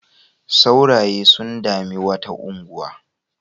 Sauraye sun dami wata unguwa.